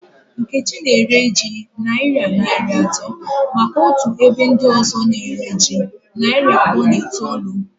Nkechi na ere ji nayira narị atọ maka otu ebe ndị ọzọ na ere ji narị abụọ na itoolu